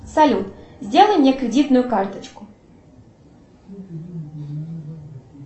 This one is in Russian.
салют сделай мне кредитную карточку